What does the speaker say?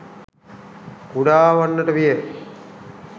කුඩා වන්නට විය.